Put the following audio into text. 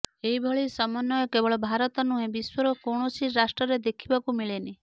ଏହିଭଳି ସମନ୍ବୟ କେବଳ ଭାରତ ନୁହେଁ ବିଶ୍ୱର କୌଣସି ରାଷ୍ଟ୍ରରେ ଦେଖିବାକୁ ମିଳେନି